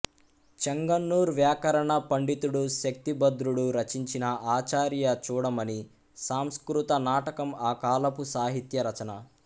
చెంగన్నూర్ వ్యాకరణ పండితుడు శక్తిభద్రుడు రచించిన ఆచార్య చూడమని సంస్కృత నాటకం ఆ కాలపు సాహిత్య రచన